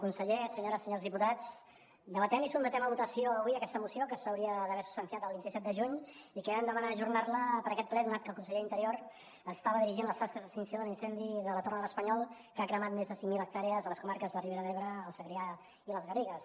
conseller senyores senyors diputats debatem i sotmetem a votació avui aquesta moció que s’hauria d’haver substanciat el vint set de juny i que vam demanar ajornar la per a aquest ple donat que el conseller d’interior estava dirigint les tasques d’extinció de l’incendi de la torre de l’espanyol que ha cremat més de cinc mil hectàrees a les comarques de ribera d’ebre el segrià i les garrigues